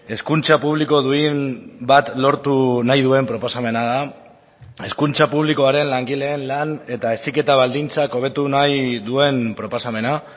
hezkuntza publiko duin bat lortu nahi duen proposamena da hezkuntza publikoaren langileen lan eta heziketa baldintzak hobetu nahi duen proposamena